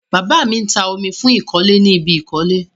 Bàbá mi ń ta omi fún ìkọ́lé ni ibi ìkọ́lé.